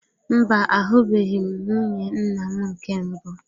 Mba, ahubeghi m nwunye nnam nke mbụ.